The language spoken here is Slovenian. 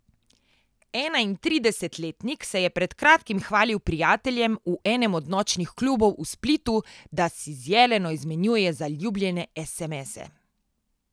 Enaintridesetletnik se je pred kratkim hvalil prijateljem v enem od nočnih klubov v Splitu, da si z Jeleno izmenjuje zaljubljene esemese.